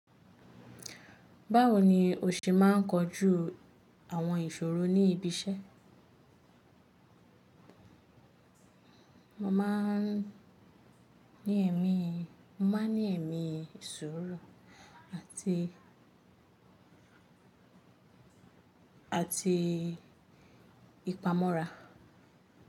Báwo ni o ṣe máa ń kojú àwọn ìṣòro ní ibi iṣẹ́? Mo máa ń ní ẹ̀mí, mo máa ń ní ẹ̀mí suuru àti, àti ìpamọ́ra.